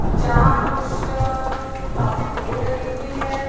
जहां कुछ काफी भीड़ लगी हुईं हैं।